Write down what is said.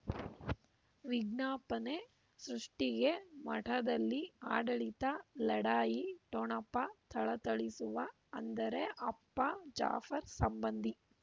ವಿಜ್ಞಾಪನೆ ಸೃಷ್ಟಿಗೆ ಮಠದಲ್ಲಿ ಆಡಳಿತ ಲಢಾಯಿ ಠೊಣಪ ಥಳಥಳಿಸುವ ಅಂದರೆ ಅಪ್ಪ ಜಾಫರ್ ಸಂಬಂಧಿ